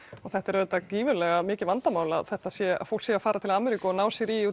þetta er auðvitað gífurlega mikið vandamál að þetta sé að fólk sé að fara til Ameríku og ná sér í